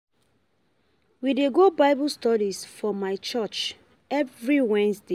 We dey go Bible study for my church every Wednesday.